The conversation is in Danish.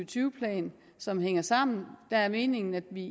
tyve plan som hænger sammen meningen er at vi